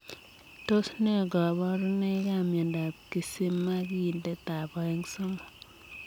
Tos ne kabarunoik ap miondop kisimakindetab oeng 'somok?